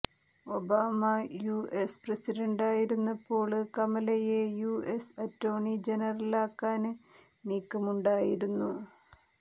Obama U S പ്രസിഡണ്ടായിരുന്നപ്പോള് കമലയെ U S attorney ജനറലാക്കാന് നീക്കമുണ്ടായിരുന്നു